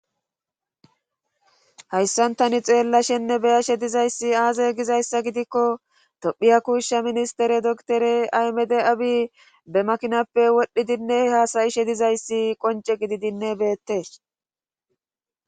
hayssantani xeella shenne beyashe dizayssi aaze gizayssa gidikko tophiya kuushsha ministere doktore aymede abi be makinappe wodhdhidinne haasayishe dizayssi qonce gididinne beettees